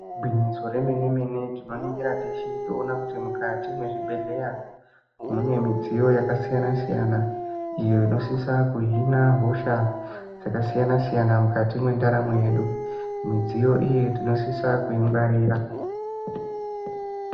Igwinyiso remenemene tinoningira teshe toona kuti mukati mwechibhehleya mune midziyo yakasiyanasiyana iyo inosisa kuhina hosha dzakasiyanasiyana mukati mwendaramo yedu midziyo iyi tinosisa kuyingwarira.